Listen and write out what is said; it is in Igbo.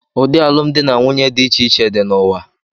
Ụdị alụmdi na nwunye dị iche iche dị n'ụwa.